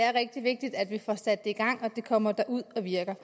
er rigtig vigtigt at vi får sat det i gang og at det kommer ud og virker